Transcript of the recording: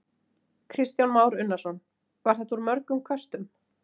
Kristján Már Unnarsson: Var þetta úr mörgum köstum?